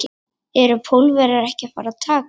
Eru Pólverjar ekki að fara að taka þetta?